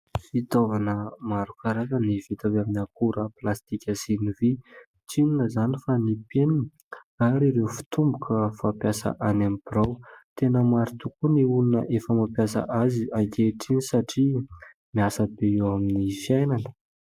Fitaovana maro karazana vita avy amin'ny akora plastika sy ny vy, tsy inona izany fa ny penina ary ireo fitomboka fampiasa any amin'ny birao; tena maro tokoa ny olona efa mampiasa azy ankehitriny satria miasa be eo amin'ny fiainany.